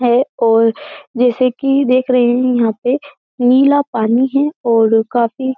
है और जैसे कि देख रहे हैं यहाँ पे नीला पानी है ओड़ काफी --